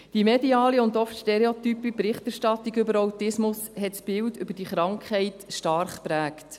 Die mediale und oft stereotype Berichterstattung über Autismus hat das Bild dieser Krankheit stark geprägt.